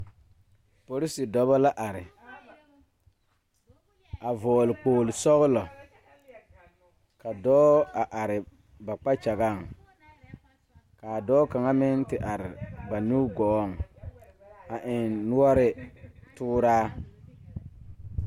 Porise dɔbɔ la are a vɔgle kpogle sɔglɔ ka dɔɔ a are ba kpakyagaŋ kaa dɔɔ kaŋa meŋ ti are ba nugɔɔŋ a eŋ noɔre tooraa.